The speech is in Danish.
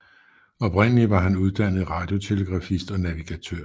Oprindeligt er han uddannet radiotelegrafist og navigatør